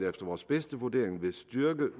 efter vores bedste vurdering vil styrke